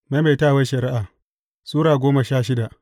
Maimaitawar Shari’a Sura goma sha shida